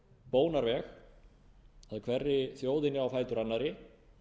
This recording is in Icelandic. bónarveg að hverri þjóðinni á fætur annarri